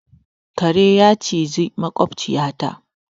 Karen ya cizi maƙwabciyata.